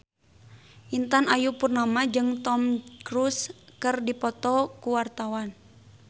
Intan Ayu Purnama jeung Tom Cruise keur dipoto ku wartawan